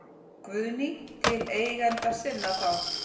Guðný: Til eigenda sinna þá?